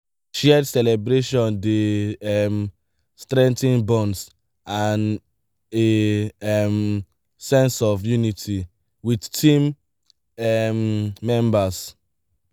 shared celebration dey um strengthen bonds and a um sense of unity with team um members